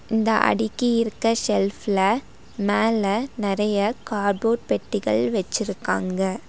இந்த அடிக்கி இருக்க ஷெல்ஃப் ல மேல நெறைய கார்போட் பெட்டிகள் வெச்சுருக்காங்க.